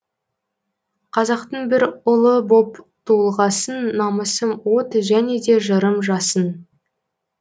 қазақтың бір ұлы боп туылғасын намысым от және де жырым жасын